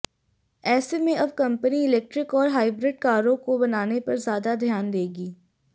ऐसे में अब कंपनी इलेक्ट्रिक और हाइब्रिड कारों को बनाने पर ज्यादा ध्यान देगी